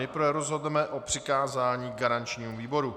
Nejprve rozhodneme o přikázání garančnímu výboru.